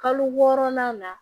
Kalo wɔɔrɔnan la